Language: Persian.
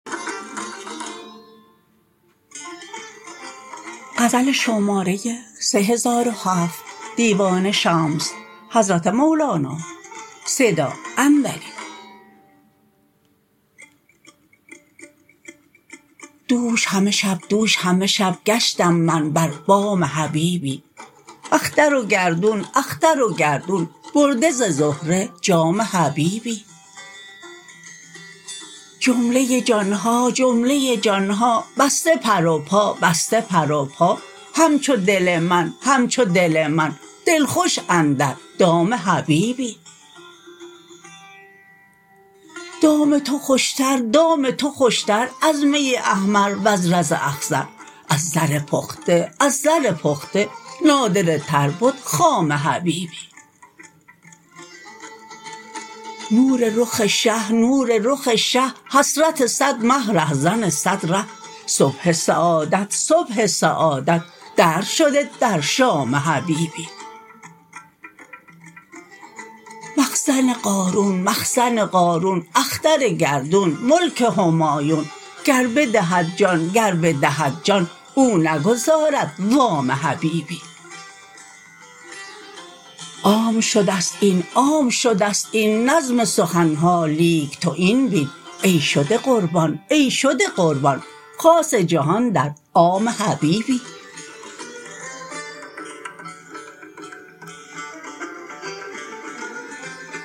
دوش همه شب دوش همه شب گشتم من بر بام حبیبی اختر و گردون اختر و گردون برده ز زهره جام حبیبی جمله جان ها جمله جان ها بسته پر و پا بسته پر و پا همچو دل من همچو دل من دلخوش اندر دام حبیبی دام تو خوشتر دام تو خوشتر از می احمر وز زر اخضر از زر پخته از زر پخته نادره تر بد خام حبیبی نور رخ شه نور رخ شه حسرت صد مه رهزن صد ره صبح سعادت صبح سعادت درج شده در شام حبیبی مخزن قارون مخزن قارون اختر گردون ملک همایون گر بدهد جان گر بدهد جان او نگزارد وام حبیبی عام شده ست این عام شده ست این نظم سخن ها لیک تو این بین ای شده قربان ای شده قربان خاص جهان در عام حبیبی